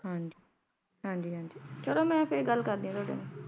ਹੱਮ ਹਨ ਜੀ ਹਨ ਜੀ ਚੱਲੋ ਮੇਂ ਫਿਰ ਗੱਲ ਕਰਦੀ ਆਂ